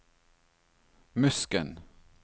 Musken